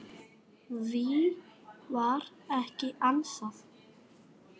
Því var ekki ansað.